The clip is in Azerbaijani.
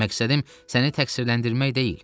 Məqsədim səni təqsirləndirmək deyil.